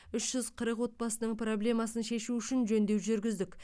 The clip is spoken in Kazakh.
үш жүз қырық отбасының проблемасын шешу үшін жөндеу жүргіздік